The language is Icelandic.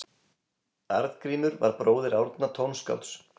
Arngrímur var bróðir Árna tónskálds.